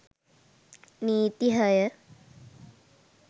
නීති හය